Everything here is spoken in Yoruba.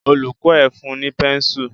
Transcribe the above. Olùkó ẹ fun ní pẹ́nsù.